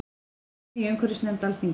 Funi í umhverfisnefnd Alþingis